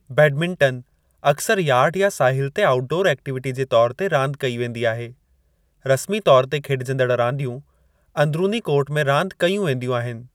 Badminton अक्सर yard या साहिल ते आउटडॉर एक्टिविटी जे तौरु ते रांदि कई वेंदी आहे; रस्मी तौरु ते खेड॒जंदड़ रांदियूं अंदरूनी कोर्ट में रांदि कयूं वेंदियूं आहिनि।